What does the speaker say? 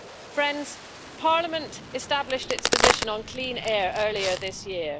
Friends, Parliament established its position on clean air earlier this year.